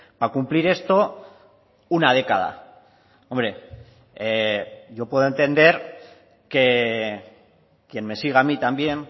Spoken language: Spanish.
para cumplir esto una década hombre yo puedo entender que quien me siga a mí también